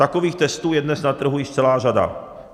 Takových testů je dnes na trhu již celá řada.